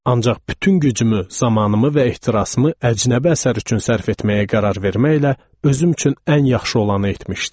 Ancaq bütün gücümü, zamanımı və ehtirasımı əcnəbi əsər üçün sərf etməyə qərar verməklə özüm üçün ən yaxşı olanı etmişdim.